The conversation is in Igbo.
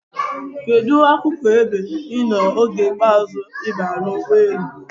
Kedụ akụkụ ebe ị nọ oge ikpeazụ ị baara n'ụgbọelu?